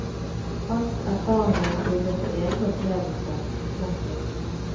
Hans erfaringer bygger på egne opplevelser. punktum